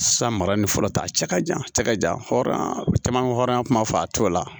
San mara ni fɔlɔ ta cɛ ka jan cɛ ka jan hɔ caman bɛ hɔrɔnya kuma fɔ a t'o la